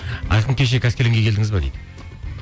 айқын кеше қаскелеңге келдіңіз бе дейді